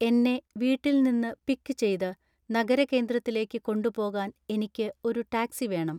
എന്നെ വീട്ടിൽ നിന്ന് പിക്ക് ചെയ്ത് നഗരകേന്ദ്രത്തിലേക്ക് കൊണ്ടുപോകാൻ എനിക്ക് ഒരു ടാക്സി വേണം